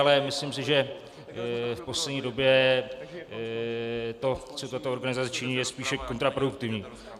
Ale myslím si, že v poslední době to, co tato organizace činí, je spíše kontraproduktivní.